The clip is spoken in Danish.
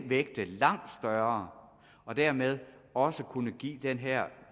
vægte langt højere og dermed også kunne give den her